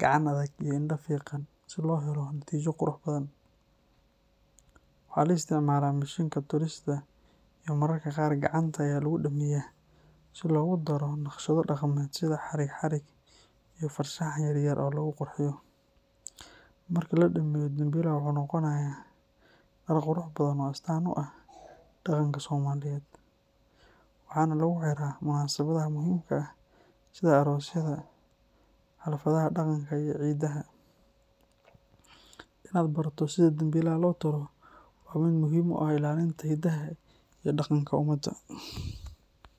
gacan adag iyo indho fiiqan si loo helo natiijo qurux badan. Waxaa la isticmaalaa mishiinka tolista iyo mararka qaar gacanta ayaa lagu dhammeeyaa si loogu daro naqshado dhaqameed sida xarig-xarig iyo farshaxan yar yar oo lagu qurxiyo. Marka la dhameeyo, dambilaha wuxuu noqonayaa dhar qurux badan oo astaan u ah dhaqanka Soomaaliyeed, waxaana lagu xiraa munaasabadaha muhiimka ah sida aroosyada, xafladaha dhaqanka iyo ciidaha. Inaad barato sida dambilaha loo tolo waa mid muhiim u ah ilaalinta hidaha iyo dhaqanka ummadda.